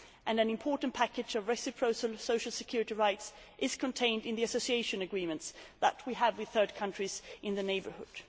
An important package of reciprocal social security rights is contained in the Association Agreements that we have with third countries in the neighbourhood.